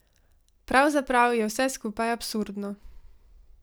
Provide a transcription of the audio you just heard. Pravzaprav je vse skupaj absurdno.